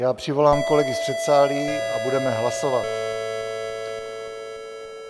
Já přivolám kolegy z předsálí a budeme hlasovat.